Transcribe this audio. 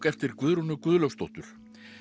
eftir Guðrúnu Guðlaugsdóttur